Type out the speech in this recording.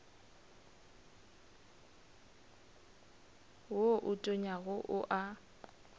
wo o tonyago o a